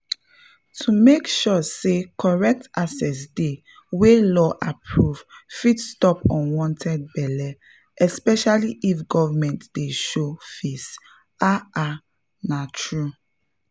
to make sure say correct access dey (wey law approve) fit stop unwanted belle especially if government dey show face—ah ah na truth!